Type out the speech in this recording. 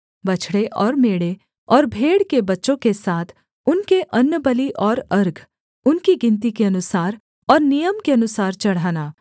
बछड़े और मेढ़े और भेड़ के बच्चों के साथ उनके अन्नबलि और अर्घ उनकी गिनती के अनुसार और नियम के अनुसार चढ़ाना